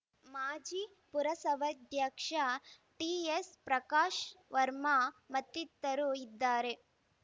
ಮಾಜಿ ಪುರಸವ್ಯಾಧ್ಯಕ್ಷ ಟಿಎಸ್‌ ಪ್ರಕಾಶ್‌ ವರ್ಮ ಮತ್ತಿತರರು ಇದ್ದಾರೆ